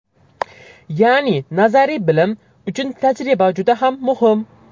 Ya’ni nazariy bilm uchun tajriba juda ham muhim.